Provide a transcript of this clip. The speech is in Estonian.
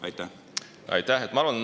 Aitäh!